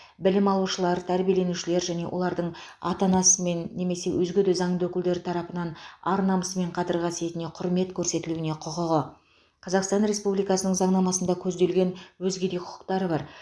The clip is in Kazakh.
білім алушылар тәрбиеленушілер және олардың ата анасымен немесе өзге де заңды өкілдері тарапынан ар намысы мен қадір қасиетіне құрмет көрсетілуіне құқығы қазақстан республикасының заңнамасында көзделген өзге де құқықтары бар